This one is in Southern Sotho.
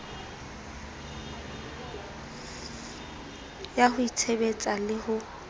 ya ho itshebetsa le ho